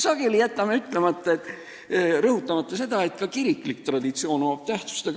Me jätame sageli rõhutamata, et ka kiriklikul traditsioonil on tähtsus.